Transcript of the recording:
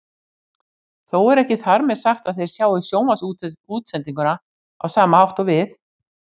Þó er ekki þar með sagt að þeir sjái sjónvarpsútsendinguna á sama hátt og við.